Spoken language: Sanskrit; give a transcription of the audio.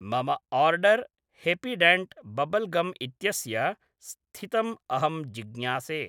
मम ओर्डर् हेपीडेण्ट् बब्बल् गम् इत्यस्य स्थितं अहं जिज्ञासे